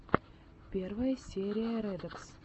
первая серия рекодс